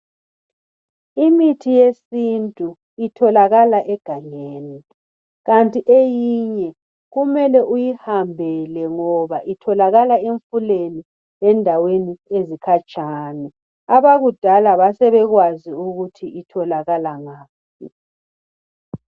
Imithi yesintu itholakala egangeni kanti eyinye kumele uyihambele ngoba itholakala emfuleni lendaweni ezikhatshana abakudala basebekwazi ukuthi itholakala ngaphi.